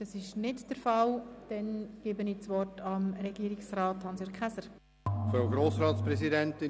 – Es gibt keine Einzelsprechenden, somit hat Regierungsrat Käser das Wort.